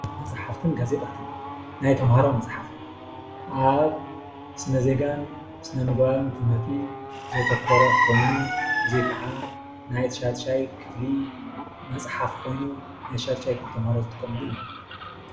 መፅሓፍትን ጋዜጣታትን ናይ ተማሃሮ መፅሓፍ አብ ስነ ዜጋ ን ስነ ምግባርን ትምህርቲ ዘተኮረ ኮይኑ እዚ ካዓ ናይ ሻድሻይ ክፍሊ መፅሓፍ ኮይኑ ናይ ሻድሻይ ክፍሊ ተማሃሮ ዝጥቀምሉእዩ ፡፡